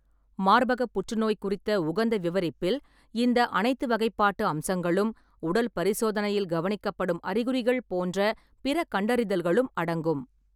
மார்பகப் புற்றுநோய் குறித்த உகந்த விவரிப்பில், இந்த அனைத்து வகைப்பாட்டு அம்சங்களும், உடல் பரிசோதனையில் கவனிக்கப்படும் அறிகுறிகள் போன்ற பிற கண்டறிதல்களும் அடங்கும்.